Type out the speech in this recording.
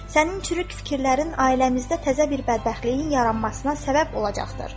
Sənin çürük fikirlərin ailəmizdə təzə bir bədbəxtliyin yaranmasına səbəb olacaqdır.